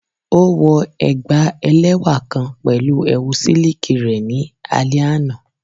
O wọ ẹgba ẹlẹwa kan pẹlu ẹwu siliki rẹ ni alẹ ana